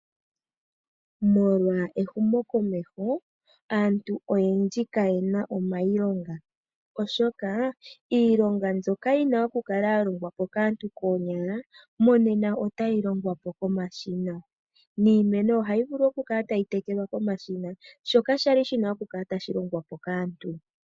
Molwa ehumo komeho aantu oyendji ka yena omayilonga oshoka iilonga mbyoka yi na oku kala ya longwa po kaantu koonyala monena otayi longwa po komashina, niimeno ohayi vulu oku kala tayi tekelwa komashina shoka shali shina oku kala tashi longwa po kaantu.